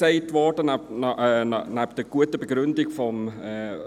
Bisher wurde, nebst der guten Begründung des